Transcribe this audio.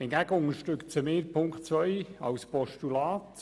Hingegen unterstützen wir Punkt 2 als Postulat.